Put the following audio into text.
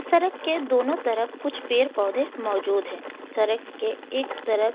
सड़क के दोनों तरफ़ कुछ पेड़ पौधे मौजूद है सड़क के एक तरफ।